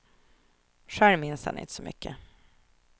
Själv minns han inte så mycket.